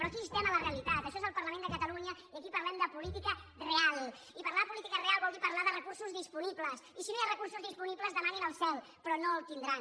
però aquí estem a la realitat això és el parlament de catalunya i aquí parlem de política real i parlar de política real vol dir parlar de recursos disponibles i si no hi ha recursos disponibles demanin al cel però no en tindran